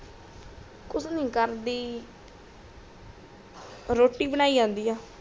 ਕੂਚ ਨੀ ਕਰਦੀ ਰੋਟੀ ਬਨਾਇ ਜਾਂਦੀ ਆ